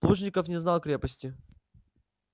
плужников не знал крепости